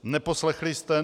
Neposlechli jste.